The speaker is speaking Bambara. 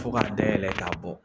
Fo ka dayɛlɛ k'a bɔ